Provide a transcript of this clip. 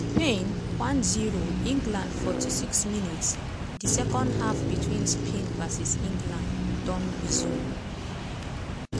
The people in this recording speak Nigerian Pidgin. spain 1-0 england 46 mins - di second half between spain v england don resume.